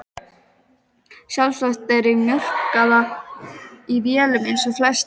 Sjálfsagt eru þær mjólkaðar í vélum eins og flest annað.